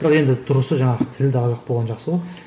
бірақ енді дұрысы жаңағы тілді жақсы ғой